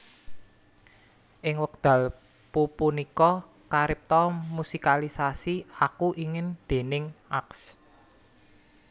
Ing wekdal pupunika karipta musikalisasi Aku Ingin déning Ags